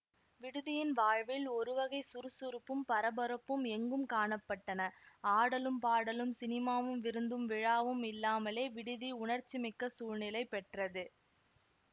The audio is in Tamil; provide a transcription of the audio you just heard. விடுதியின் வாழ்வில் ஒருவகை சுறுசுறுப்பும் பரபரப்பும் எங்கும் காண பட்டன ஆடலும் பாடலும் சினிமாவும் விருந்தும் விழாவும் இல்லாமலே விடுதி உணர்ச்சிமிக்க சூழ்நிலை பெற்றது